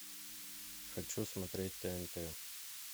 хочу смотреть тнт